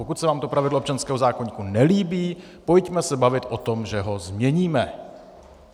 Pokud se vám to pravidlo občanského zákoníku nelíbí, pojďme se bavit o tom, že ho změníme.